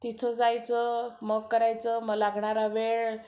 तिथं जायचं, मग करायचं, मग लागणारा वेळ